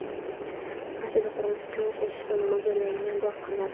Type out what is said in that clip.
Rossiyada qurilish uchun ishlashga mo‘ljallanmagan bu aqllar.